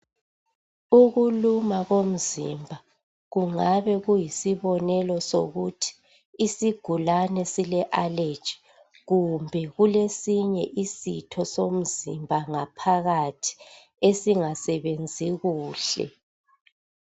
Ukuluma komzimba kungabe kuyisibonelo sokuthi isigulane sile allergy kumbe kulesinye isitho somzimba ngaphakathi esingasebenzi kuhle.